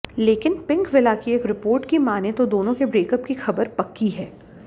लेकिन पिंकविला की एक रिपोर्ट की मानें तो दोनों के ब्रेकअप की खबर पक्की है